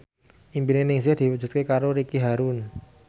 impine Ningsih diwujudke karo Ricky Harun